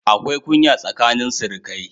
Akwai kunya tsakanin sirikai